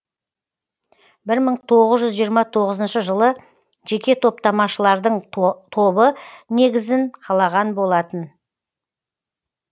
бір мың тоғыз жүз жиырма тоғызыншы жылы жеке топтамашылардың тобы негізін қалаған болатын